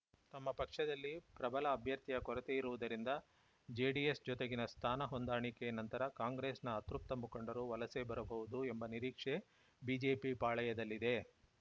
ತಮ್ಮ ಪಕ್ಷದಲ್ಲಿ ಪ್ರಬಲ ಅಭ್ಯರ್ಥಿಯ ಕೊರತೆ ಇರುವುದರಿಂದ ಜೆಡಿಎಸ್‌ ಜೊತೆಗಿನ ಸ್ಥಾನ ಹೊಂದಾಣಿಕೆ ನಂತರ ಕಾಂಗ್ರೆಸ್ಸಿನ ಅತೃಪ್ತ ಮುಖಂಡರು ವಲಸೆ ಬರಬಹುದು ಎಂಬ ನಿರೀಕ್ಷೆ ಬಿಜೆಪಿ ಪಾಳೆಯದಲ್ಲಿದೆ